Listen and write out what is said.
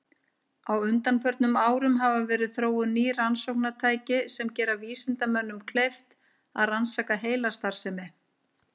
Á undanförnum árum hafa verið þróuð ný rannsóknartæki sem gera vísindamönnum kleift að rannsaka heilastarfsemi.